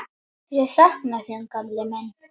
Ég sakna þín gamli minn.